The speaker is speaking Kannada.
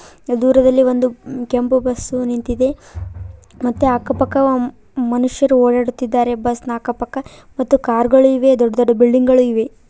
ದೂರದಲ್ಲಿ ಒಂದು ಕೆಂಪು ಬಸ್ ನಿಂತಿದೆ ಮತ್ತೆ ಅಕ್ಕಪಕ್ಕ ಮನುಷ್ಯರು ಓಡಾಡುತ್ತಿದ್ದಾರೆ ಬಸ್ ಅಕ್ಕಪಕ್ಕ ಮತ್ತು ಕಾರ್ ಗಳು ಇವೆ ಮತ್ತು ದೊಡ್ಡ ದೊಡ್ಡ ಬಿಲ್ಡಿಂಗ್ ಗಳು ಇವೆ.